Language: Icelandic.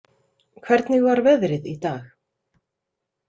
Hvernig var veðrið í dag?